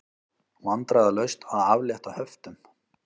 Vandræðalaust að aflétta höftum